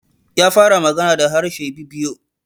Ya fara magana da harshe Ibibio.